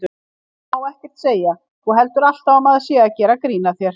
Maður má ekkert segja. þú heldur alltaf að maður sé að gera grín að þér.